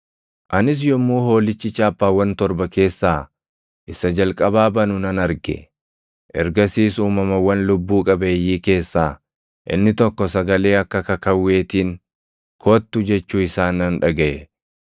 Anis yommuu Hoolichi chaappaawwan torban keessaa isa jalqabaa banu nan arge. Ergasiis uumamawwan lubbuu qabeeyyii keessaa inni tokko sagalee akka kakawweetiin, “Kottu!” jechuu isaa nan dhagaʼe.